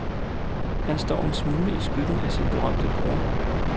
Han står en smule i skyggen af sin berømte bror.